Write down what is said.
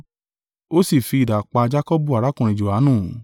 Ó sì fi idà pa Jakọbu arákùnrin Johanu.